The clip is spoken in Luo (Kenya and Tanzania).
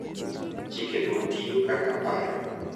Chikego tiyo kaka paro